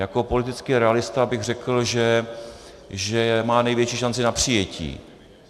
Jako politický realista bych řekl, že má největší šanci na přijetí.